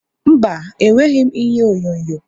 Mba, enweghị m ihe onyonyo.